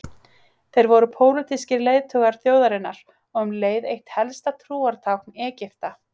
Þeir voru pólitískir leiðtogar þjóðarinnar og um leið eitt helsta trúartákn Egypta.